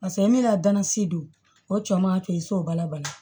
Paseke e mina danansi don o cɛ man kɛ i so bala bali